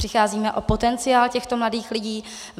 Přicházíme o potenciál těchto mladých lidí.